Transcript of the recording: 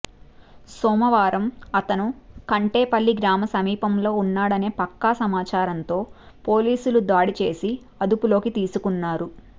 సోమవారం అతను కంటేపల్లి గ్రామ సమీపంలో ఉన్నాడనే పక్కా సమాచారంతో పోలీసులు దాడిచేసి అదుపులోకి తీసుకున్నారు